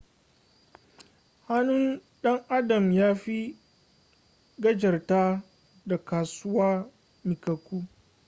hannun dan adam ya fi kafa gajarta da kasusuwa miƙaƙƙu